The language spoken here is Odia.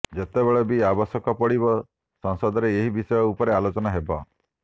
ଯେତେବେଳେ ବି ଆବଶ୍ୟକ ପଡିବ ସଂସଦରେ ଏହି ବିଷୟ ଉପରେ ଆଲୋଚନା ହେବ